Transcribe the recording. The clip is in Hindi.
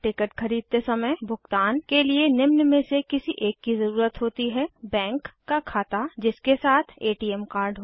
टिकट खरीदते समय भुगतान के लिए निम्न में से किसी एक की ज़रुरत होती है बैंक का खाता जिसके साथ एटीएम कार्ड हो